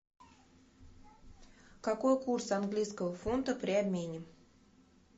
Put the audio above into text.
какой курс английского фунта при обмене